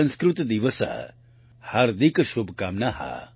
સંસ્કૃતદિવસસ્ય હાર્દયઃ શુભકામનાઃ